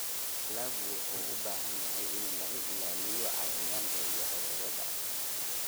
Dalaggu wuxuu u baahan yahay in laga ilaaliyo cayayaanka iyo cudurrada.